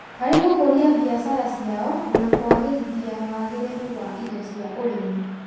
harĩ gũkũria biashara ciao na kũagĩrithiawagĩrĩru wa indo cia ũrĩmi.